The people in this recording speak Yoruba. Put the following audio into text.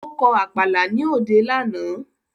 Ó kọ Àpàlà ní òde lánàá